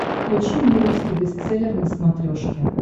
включи мне русский бестселлер на смотрешке